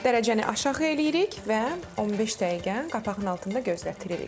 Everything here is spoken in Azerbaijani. Dərəcəni aşağı eləyirik və 15 dəqiqə qapağının altında gözlətdiririk.